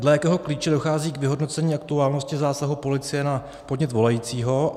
Dle jakého klíče dochází k vyhodnocení aktuálnosti zásahu policie na podnět volajícího?